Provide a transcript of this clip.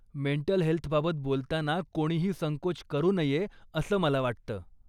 Mental हेल्थबाबत बोलताना कोणीही संकोच करू नये असं मला वाटतं.